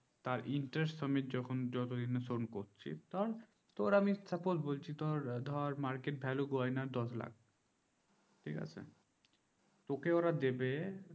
তার interest সমেত যখন যতদিন না শোধ করছিস ধর আমি যখন তোর আমি suppose বলছি তোর ধর market value গয়না দশ লাখ ঠিকাছে তোকে ওরা দেবে